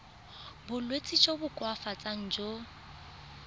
bolwetsi jo bo koafatsang jo